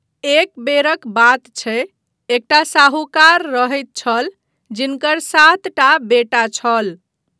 एक बेरक बात छै, एकटा साहूकार रहैत छल जिनकर सातटा बेटा छल।